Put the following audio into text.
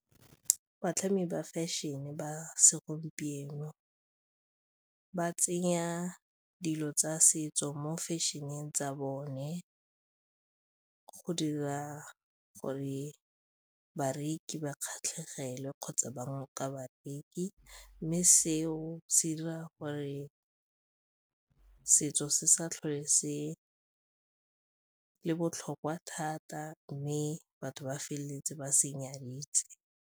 Batlhami ba fashion-e ba segompieno ba tsenya dilo tsa setso mo fashion-eng tsa bone go dira gore bareki ba kgatlhegele kgotsa bangwe ka babereki mme seo se dira gore setso se sa tlhole se le botlhokwa thata mme batho ba feleletse ba se nyaditse.